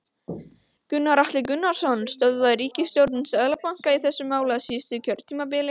Gunnar Atli Gunnarsson: Stöðvaði ríkisstjórnin Seðlabankann í þessu máli á síðasta kjörtímabili?